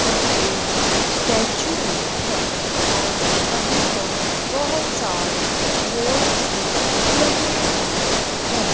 पर एक स्टैचू भी है और यहां पर बहोत सारे बोर्ड्स भी लगे हुए हैं।